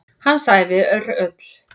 Hans ævi er öll.